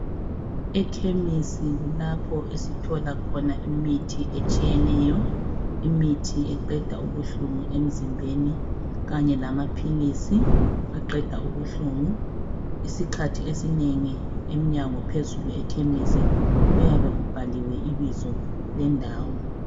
Ekhemisi kulapho esithola khona imithi etshiyeneyo, imithi eqeda ubuhlungu emzimbeni. Kanye lamaphilisi aqeda ubuhlungu. Isikhathi esinengi ekhemisi iminyango iyabe ibhaliwe ibizo lendawo.